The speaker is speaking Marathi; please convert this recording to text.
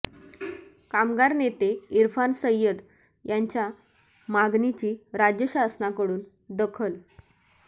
कामगार नेते इरफान सय्यद यांच्या मागणीची राज्य शासनाकडून दखल